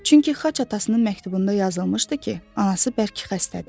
Çünki xaç atasının məktubunda yazılmışdı ki, anası bərk xəstədir.